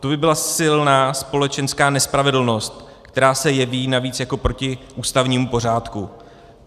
To by byla silná společenská nespravedlnost, která se jeví navíc jako proti ústavnímu pořádku.